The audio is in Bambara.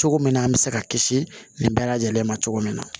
Cogo min na an bɛ se ka kisi nin bɛɛ lajɛlen ma cogo min na